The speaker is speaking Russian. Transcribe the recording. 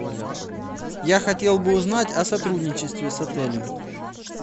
я хотел бы узнать о сотрудничестве с отелем